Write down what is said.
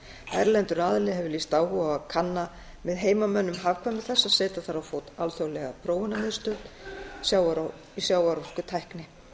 erlendur aðili hefur lýst áhuga á að kanna með heimamönnum hagkvæmni þess að setja þar á fót alþjóðlega prófunarmiðstöð sjávarorkutækni